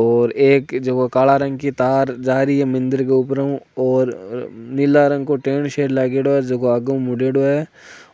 और एक जखी काला रंग की तार जा रही है मंदिर के ऊपर ऊ नीले रंग को टेन सो लागेडो है आग ऊ मुदेड़ो है